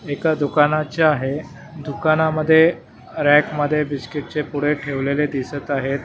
एका दुकानाच्या आहे दुकानामध्ये रॅकमध्ये बिस्किटचे पुढे ठेवलेले दिसत आहेत.